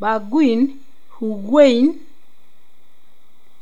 Bergwijn, Higuain.